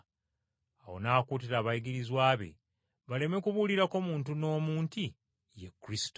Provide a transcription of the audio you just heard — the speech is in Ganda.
Awo n’akuutira abayigirizwa be baleme kubuulirako muntu n’omu nti Ye Kristo.